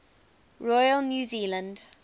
royal new zealand